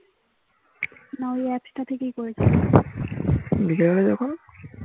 না ওই একটা থেকেই করেছিলি